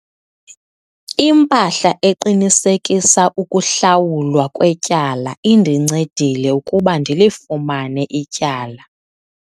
Impahla eqinisekisa ukuhlawulwa kwetyala indincedile ukuba ndilifumane ityala.